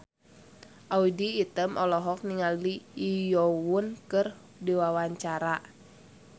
Audy Item olohok ningali Lee Yo Won keur diwawancara